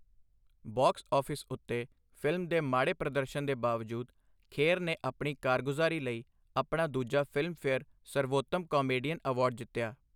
Box office ਉੱਤੇ film ਦੇ ਮਾੜੇ ਪ੍ਰਦਰਸ਼ਨ ਦੇ ਬਾਵਜੂਦ, ਖੇਰ ਨੇ ਆਪਣੀ ਕਾਰਗੁਜ਼ਾਰੀ ਲਈ ਆਪਣਾ ਦੂਜਾ ਫ਼ਿਲਮਫੇਅਰ ਸਰਵੋਤਮ ਕਾਮੇਡੀਅਨ ਅਵਾਰਡ ਜਿੱਤਿਆ।